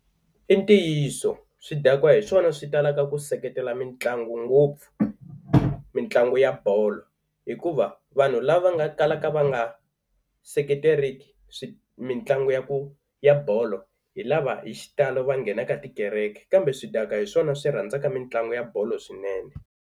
I ntiyiso swidakwa hi swona swi talaka ku seketela mitlangu ngopfu, mitlangu ya bolo. Hikuva vanhu lava nga kalaka va nga seketeriki swi mitlangu ya ku ya bolo hi lava hi xitalo va nghenaka tikereke kambe swidakwa hi swona swi rhandzaka mitlangu ya bolo swinene.